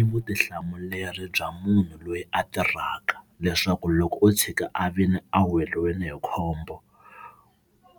I vutihlamuleri bya munhu loyi a tirhaka leswaku loko o tshika a vile a weriwe hi khombo